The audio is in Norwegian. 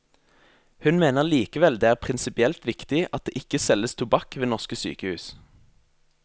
Hun mener likevel det er prinsipielt viktig at det ikke selges tobakk ved norske sykehus.